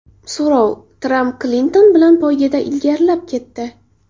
So‘rov: Tramp Klinton bilan poygada ilgarilab ketdi.